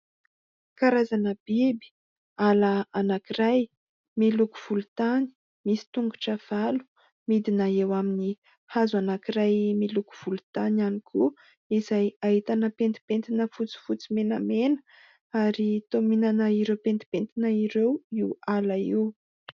Karazana biby, ala anankiray, miloko volontany, misy tongotra valo, midina eo amin'ny hazo anankiray miloko volontany ihany koa, izay ahitana pentipentina fotsifotsy menamena ary toa mihinana ireo pentipentina ireo io ala io.